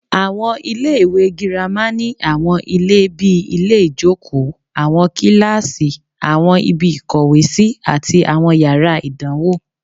Àwọn iléèwé girama ní àwọn ilé bíi ilé-ìjókòó, àwọn kíláàsì, àwọn ibi ìkówèésí, àti àwọn yàrá ìdánwò